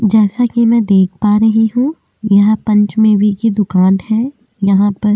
जैसा कि मै देख पा रही हूँ यहाँ पंचमेवे दुकान है यहाँ पर खा।